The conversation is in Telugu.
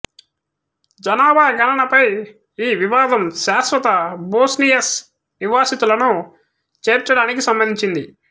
జనాభా గణనపై ఈ వివాదం శాశ్వత బోస్నియన్ నివాసితులను చేర్చడానికి సంబంధించింది